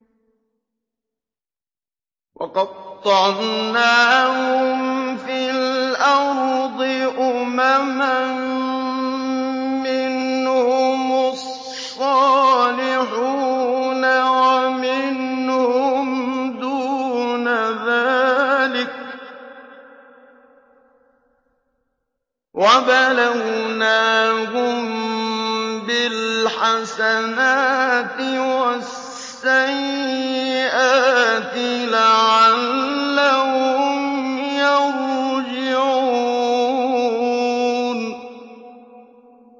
وَقَطَّعْنَاهُمْ فِي الْأَرْضِ أُمَمًا ۖ مِّنْهُمُ الصَّالِحُونَ وَمِنْهُمْ دُونَ ذَٰلِكَ ۖ وَبَلَوْنَاهُم بِالْحَسَنَاتِ وَالسَّيِّئَاتِ لَعَلَّهُمْ يَرْجِعُونَ